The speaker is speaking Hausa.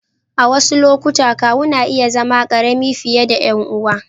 A wasu lokuta, kawu na iya zama ƙarami fiye da ƴan uwan.